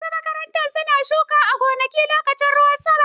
Wasu makarantu su na shuka a gonarsu lokacin ruwan sama.